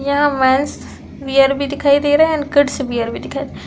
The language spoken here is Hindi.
'' यहाँ मेन्स वियर भी दिखाई दे रहा है एंड किड्स वियर भी दिखाई दे रहा --''